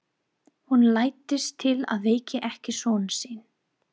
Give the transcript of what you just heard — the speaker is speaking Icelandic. Hún læddist til að vekja ekki son sinn.